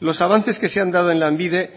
los avances que se han dado en lanbide